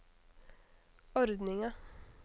ordninga